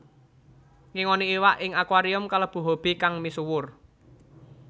Ngingoni iwak ing akuarium kalebu hobi kang misuwur